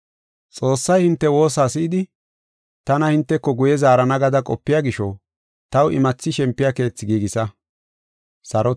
Xoossay hinte woosa si7idi tana hinteko guye zaarana gada qopiya gisho, taw imathi shempiya keethi giigisa.